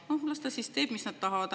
Noh, las nad teevad, mis nad tahavad.